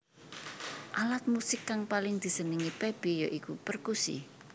Alat musik kang paling disenengi Pepi ya iku perkusi